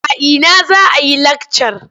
A ina za a yi lakcar?